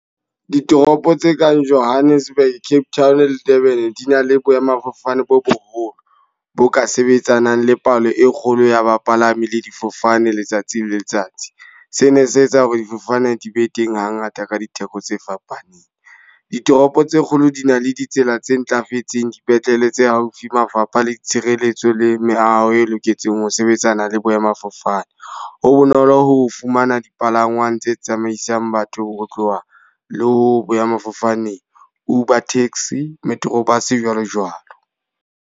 Ditoropo tse kang Johannesburg, Cape Town le Durban. Di na le boemafofane bo boholo, bo ka sebetsanang le palo e kgolo ya bapalami le difofane letsatsi le letsatsi. Sena se etsa hore difofane di be teng ha ngata ka ditheko tse fapaneng. Ditoropo tse kgolo di na le ditsela tse ntlafetseng, dipetlele tse haufi, mafapha le tshireletso le meaho e loketseng ho sebetsana le boemafofane. Ho bonolo ho fumana dipalangwang tse tsamaisang batho ho tloha le ho boemafofane Uber taxi, Metro Bus, jwalo jwalo.